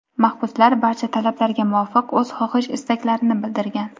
mahbuslar barcha talablarga muvofiq o‘z xohish-istaklarini bildirgan.